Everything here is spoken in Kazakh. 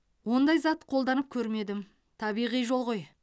ондай зат қолданып көрмедім табиғи жол ғой